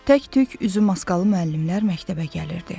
Tək-tük üzü maskalı müəllimlər məktəbə gəlirdi.